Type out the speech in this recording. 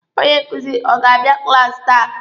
Onye nkuzi ọ ga-abịa klaasi taa?